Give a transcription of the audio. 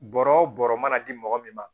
Bɔrɔ o bɔrɔ mana di mɔgɔ min ma